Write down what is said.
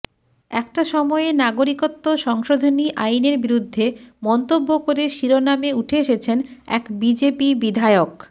একটা সময়ে নাগরিকত্ব সংশোধনী আইনের বিরুদ্ধে মন্তব্য করে শিরোনামে উঠে এসেছেন এক বিজেপি বিধায়ক